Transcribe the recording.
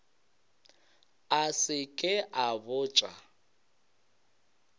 a se ke a botša